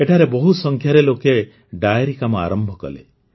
ଏଠାରେ ବହୁତ ସଂଖ୍ୟାରେ ଲୋକେ ଡେୟରି କାମ ଆରମ୍ଭ କଲେ